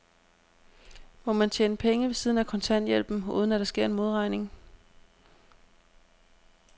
Må man tjene penge ved siden af kontanthjælpen, uden at der sker en modregning?